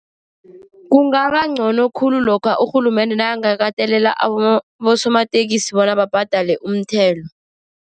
Kungaba ngcono khulu lokha urhulumende nakangakatelela abosomateksi bona babhadele umthelo.